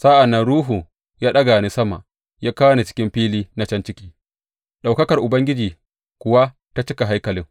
Sa’an nan Ruhu ya ɗaga ni sama ya kawo ni cikin fili na can ciki, ɗaukakar Ubangiji kuwa ta cika haikalin.